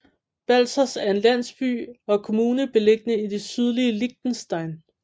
Balzers er en landsby og kommune beliggende i det sydlige Liechtenstein